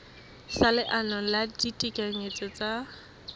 sa leano la ditekanyetso tsa